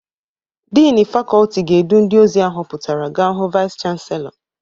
Dịnị fakọltị ga-edu ndị ozi ahụpụtara ga hụ vaịs chanselọ.